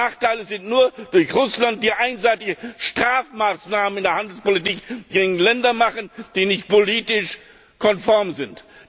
Die Nachteile entstehen nur durch Russland, das einseitige Strafmaßnahmen in der Handelspolitik gegen Länder macht, die nicht politisch konform sind.